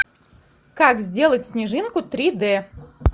как сделать снежинку три д